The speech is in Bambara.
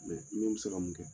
bɛ se ka mun kɛ.